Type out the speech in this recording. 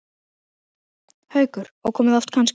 Haukur: Og komið oft kannski?